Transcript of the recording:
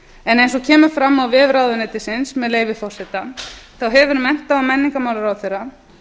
en eins og kemur fram á vef ráðuneytisins með leyfi forseta þá hefur mennta og menningarmálaráðherra